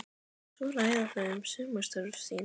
Svo ræða þau um sumarstörf sín.